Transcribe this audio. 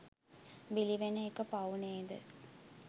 බිලිවෙන එක පව් නේද